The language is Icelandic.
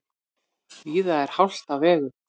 Víða er hált á vegum